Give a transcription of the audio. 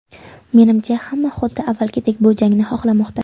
Menimcha, hamma xuddi avvalgidek bu jangni xohlamoqda.